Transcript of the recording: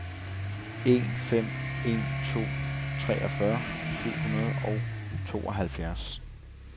en fem en to treogfyrre syv hundrede og tooghalvfjerds